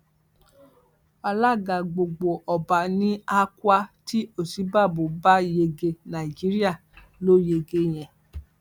alága gbogbo ọba ni akwa tí òsínbàbò bá yege nàìjíríà ló yege yẹn